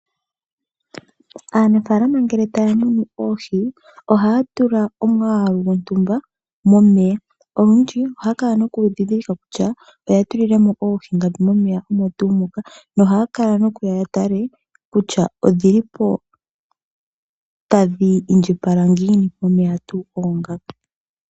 Aanafaalama ngele taya munu oohi ohaya tula omwaalu gontumba momeya. Olundji ohaya kala nokundhidhilika kutya oya tulile mo oohi ngapi momeya omo tuu moka, nohaya kala nokuya yatale kutya odhili po tadhi indjipala ngiini momeya tuu oongaka.